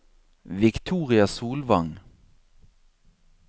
Victoria Solvang